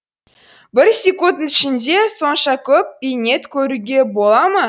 бір секундтың ішінде сонша көп бейнет көруге бола ма